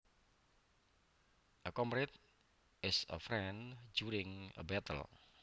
A comrade is a friend during a battle